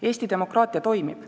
Eesti demokraatia toimib.